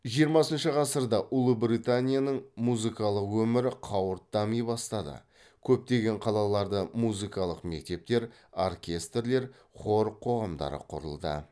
жиырмасыншы ғасырда ұлыбританияның музыкалық өмірі қауырт дами бастады көптеген қалаларда музыкалық мектептер оркестрлер хор қоғамдары құрылды